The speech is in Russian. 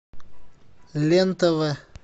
лен тв